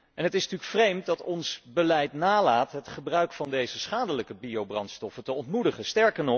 En het is natuurlijk vreemd dat ons beleid nalaat het gebruik van deze schadelijke biobrandstoffen te ontmoedigen.